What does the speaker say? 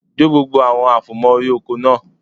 Jó gbogbo àwọn àfòmọ́ órí oko náà